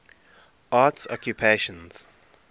arts occupations